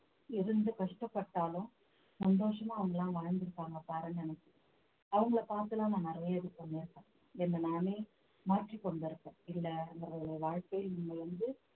இருந்து கஷ்டப்பட்டாலும் சந்தோஷமா அவங்களா வாழ்ந்திருப்பாங்க பாருங்க அவங்களை பார்த்து எல்லாம் நான் நிறைய இது பண்ணியிருக்கேன் என்னை நானே மாற்றிக் கொண்டிருக்கேன் வாழ்க்கை நீங்க வந்து